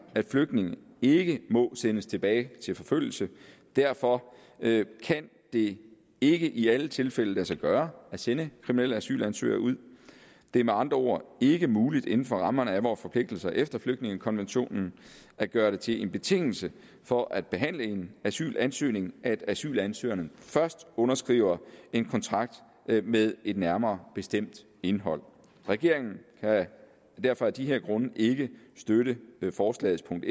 at flygtninge ikke må sendes tilbage til forfølgelse derfor kan det ikke i alle tilfælde lade sig gøre at sende kriminelle asylansøgere ud det er med andre ord ikke muligt inden for rammerne af vores forpligtelser efter flygtningekonventionen at gøre det til en betingelse for at behandle en asylansøgning at asylansøgeren først underskriver en kontrakt med et nærmere bestemt indhold regeringen kan derfor af de grunde ikke støtte forslagets punkt